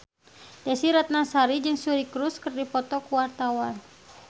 Desy Ratnasari jeung Suri Cruise keur dipoto ku wartawan